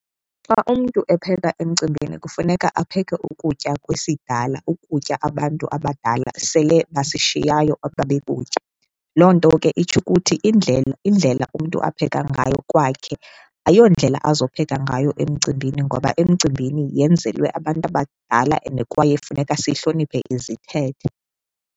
Xa umntu epheka emcimbini kufuneka apheke ukutya kwesidala, ukutya abantu abadala sele basishiyayo ababekutya. Loo nto ke itsho ukuthi indlela, indlela umntu apheka ngayo kwakhe ayondlela azopheka ngayo emcimbini ngoba emcimbini yenzelwe abantu abadala and kwaye funeka sihloniphe izithethe.